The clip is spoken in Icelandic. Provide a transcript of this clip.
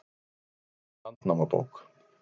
Vættir í Landnámabók